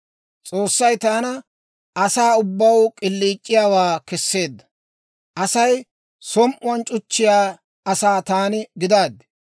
«S'oossay taana asaa ubbaw k'iliic'iyaawaa kesseedda; Asay som"uwaan c'uchchiyaa asaa taani gidaaddi.